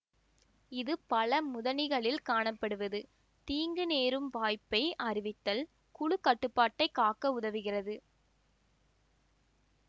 இது பல முதனிகளில் காணப்படுவது தீங்கு நேரும் வாய்ப்பை அறிவித்தல் குழு கட்டுப்பாட்டை காக்க உதவுகிறது